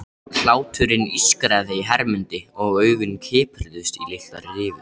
Hláturinn ískraði í Hermundi og augun kipruðust í litlar rifur.